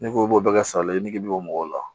N'i ko i b'o bɛɛ kɛ salali ye nege bɔ mɔgɔw la